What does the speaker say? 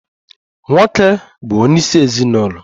Nwoke bụ onye isi ezinụlọ.